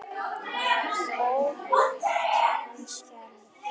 Óhult en skelfd.